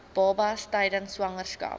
babas tydens swangerskap